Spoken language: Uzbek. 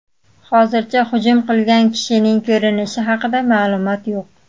Hozircha hujum qilgan kishining ko‘rinishi haqida ma’lumot yo‘q.